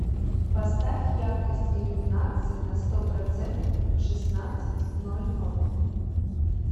поставь яркость иллюминации на сто процентов в шестнадцать ноль ноль